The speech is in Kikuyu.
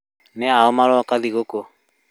Nĩ aũũ marok thigũkũ?